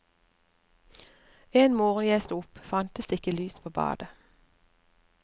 En morgen jeg stod opp, fantes det ikke lys på badet.